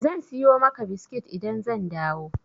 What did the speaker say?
Zan siyo maka biskit idan zan dawo.